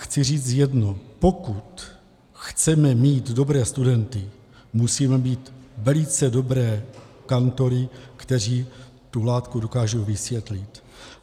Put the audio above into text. Chci říci jedno, pokud chceme mít dobré studenty, musíme mít velice dobré kantory, kteří tu látku dokážou vysvětlit.